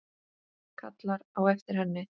Kallar á eftir henni.